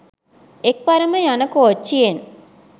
එක් වරම යන කෝච්ච්යෙන්